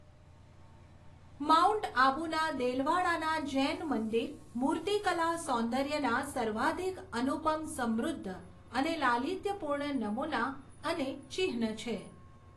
Mount આબુના દેલવાડાના જૈન મંદર મૂર્તિકલા સૌન્દર્યના સર્વાધિક અનુપમ સમૃદ્ધ અને લાલિત્યપૂર્ણ નમૂના અને ચિહ્ન છે.